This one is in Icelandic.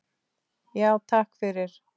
Já, takk fyrir.